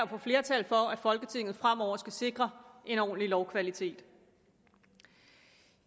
at få flertal for at folketinget fremover skal sikre en ordentlig lovkvalitet